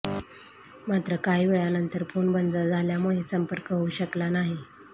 मात्र काही वेळानंतर फोन बंद झाल्यामुळे संपर्क होऊ शकला नाही